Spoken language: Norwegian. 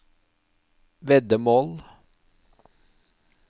veddemål